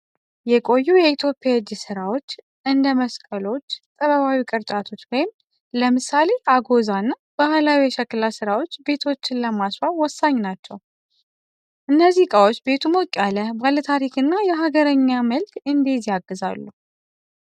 የቆዩ የኢትዮጵያ የእጅ ሥራዎች እንደ መስቀሎች፣ ጥበባዊ ቅርጫቶች (ለምሳሌ አጎዛ) እና ባህላዊ የሸክላ ሥራዎች ቤቶችን ለማስዋብ ወሳኝ ናቸው። እነዚህ ዕቃዎች ቤቱ ሞቅ ያለ፣ ባለታሪክ እና የሀገርኛ መልክ እንዲይዝ ያግዛሉ።